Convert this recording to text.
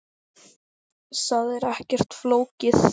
Það er ekkert flókið.